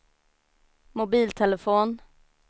mobiltelefon